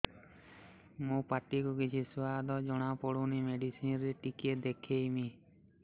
ମୋ ପାଟି କୁ କିଛି ସୁଆଦ ଜଣାପଡ଼ୁନି ମେଡିସିନ ରେ ଟିକେ ଦେଖେଇମି